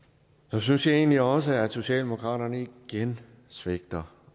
så synes jeg egentlig også at socialdemokratiet igen svigter